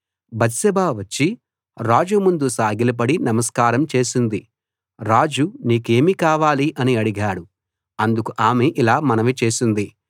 Bathsheba వచ్చి రాజు ముందు సాగిలపడి నమస్కారం చేసింది రాజు నీకేమి కావాలి అని అడిగాడు అందుకు ఆమె ఇలా మనవి చేసింది